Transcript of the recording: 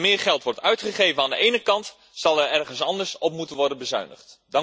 Als er meer geld wordt uitgegeven aan de ene kant, zal er ergens anders op moeten worden bezuinigd.